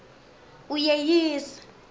uyeyisa